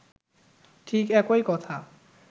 ঠিক একই কথা